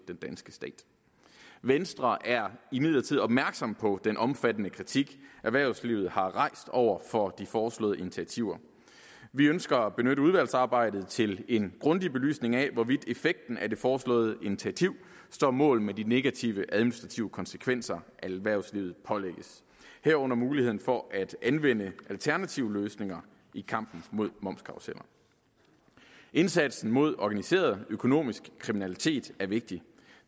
den danske stat venstre er imidlertid opmærksom på den omfattende kritik erhvervslivet har rejst over for de foreslåede initiativer vi ønsker at benytte udvalgsarbejdet til en grundig belysning af hvorvidt effekten af det foreslåede initiativ står mål med de negative administrative konsekvenser erhvervslivet pålægges herunder muligheden for at anvende alternative løsninger i kampen mod momskarruseller indsatsen mod organiseret økonomisk kriminalitet er vigtig